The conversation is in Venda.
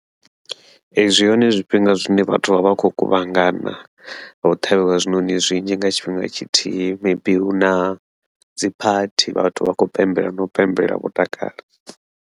Ee, zwi hone zwifhinga zwine vhathu vha vha khou kuvhangana, vha ho ṱhavhiwa zwiṋoṋi zwinzhi nga tshifhinga tshithihi, maybe huna dziphathi vhathu vha khou pembela vho pembelela vho takala.